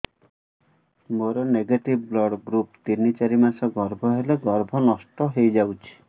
ମୋର negative blood group ତିନ ଚାରି ମାସ ଗର୍ଭ ହେଲେ ଗର୍ଭ ନଷ୍ଟ ହେଇଯାଉଛି